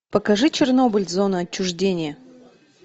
покажи чернобыль зона отчуждения